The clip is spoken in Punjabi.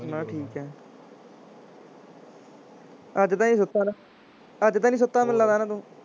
ਬਸ ਠੀਕ ਹੈ ਅੱਜ ਤਾਂ ਨੀ ਸੁੱਤਾ ਨਾ, ਅੱਜ ਤਾਂ ਨੀ ਸੁੱਤਾ ਮੈਨੂੰ ਲੱਗਦਾ ਨਾ ਤੂੰ